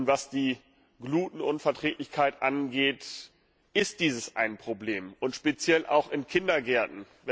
Was die Glutenunverträglichkeit angeht, so ist dies ein Problem, speziell auch in Kindergärten.